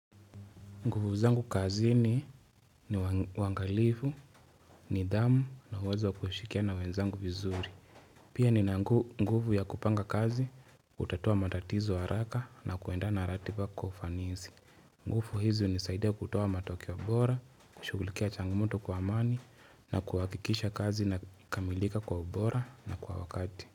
Nguvu zangu kazini ni wangalifu, nidhamu na uwezo wa kushikia na wenzangu vizuri. Pia ni na nguvu ya kupanga kazi, kutatua matatizo haraka na kuenda na ratiba kwa kufanisi. Nguvu hizi hunisaidia kutua matokeo wa bora, kushugulikia changamuto kwa amani na kuhakikisha kazi ina kamilika kwa bora na kwa wakati.